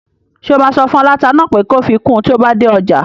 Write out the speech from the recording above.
Ṣé o máa sọ fún aláta náà pé kó fi kun tí o bá dé ọjà?